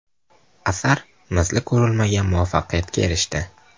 Asar misli ko‘rilmagan muvaffaqiyatga erishdi.